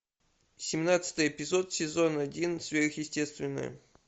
семнадцатый эпизод сезон один сверхъестественное